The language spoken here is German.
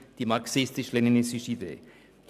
Das war die marxistisch-leninistische Idee.